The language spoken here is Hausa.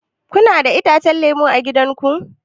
Kuna da itacen lemu a gida ku?